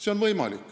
See on võimalik.